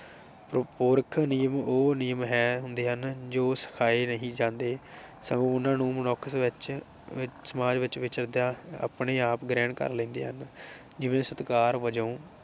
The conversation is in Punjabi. ਨਿਯਮ ਉਹ ਨਿਯਮ ਹੈ ਹੁੰਦੇ ਹਨ ਜੋ ਸਿਖਾਏ ਨਹੀ ਜਾਂਦੇ। ਸਗੋਂ ਉਨ੍ਹਾਂ ਨੂੰ ਮਨੁੱਖ ਵਿਚ ਵਿਚ ਸਮਾਜ ਵਿਚ ਵਿਚਰਦਿਆਂ ਆਪਣੇ ਆਪ ਗ੍ਰਹਿਣ ਕਰ ਲੈਂਦੇ ਹਨ ਜਿਵੇਂ ਸਤਿਕਾਰ ਵਜੋਂ